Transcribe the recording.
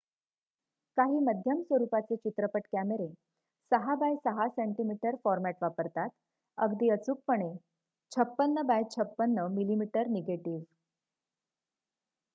काही मध्यम स्वरुपाचे चित्रपट कॅमेरे 6 बाय 6 cm फॉर्मॅट वापरतात अगदी अचूकपणे 56 बाय 56 mm निगेटिव्ह